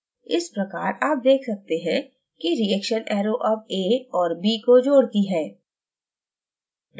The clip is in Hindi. इस प्रकार आप देख सकते हैं कि reaction arrow अब a और b को जोड़ती है